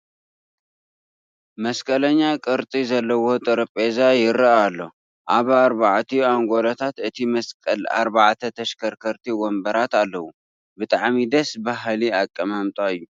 መስቀለኛ ቅርፂ ዘለዎ ጠረጴዛ ይርአ ኣሎ፡፡ ኣብ ኣርባዕቲኡ ኣንጐሎታት እቲ መስቀል ኣርባዕተ ተሽከርከርቲ ወንበራት ኣለዉ፡፡ ብጣዕሚ ደስ በሃሊ ኣቀማጣ እዩ፡፡